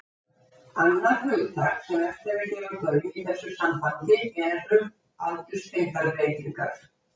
Annað hugtak sem vert er að gefa gaum í þessu sambandi er aldurstengdar breytingar.